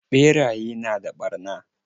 Ɓeraye na da ɓarna.